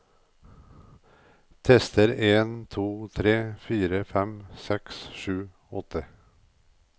Tester en to tre fire fem seks sju åtte